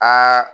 Aa